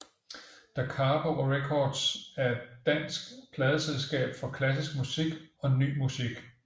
Dacapo Records er et dansk pladeselskab for klassisk musik og ny musik